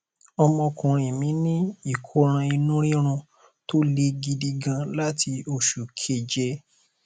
ọmọkùnrin mí ní ìkóràn inú rírun tó le gidi gan láti oṣù keje